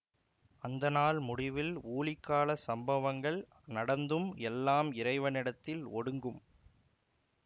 அந்த நாள் முடிவில் ஊழிக்கால சம்பவங்கள் நடந்து எல்லாம் இறைவனிடத்தில் ஒடுங்கும்